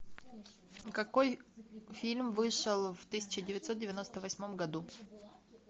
какой фильм вышел в тысяча девятьсот девяносто восьмом году